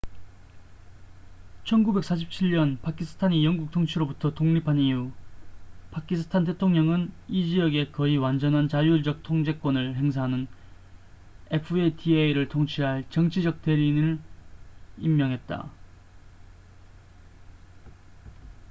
"1947년 파키스탄이 영국 통치로부터 독립한 이후 파키스탄 대통령은 이 지역에 거의 완전한 자율적 통제권을 행사하는 fata를 통치할 "정치적 대리인""을 임명했다.